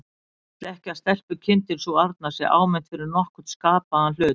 Hann vill ekki að stelpukindin sú arna sé áminnt fyrir nokkurn skapaðan hlut.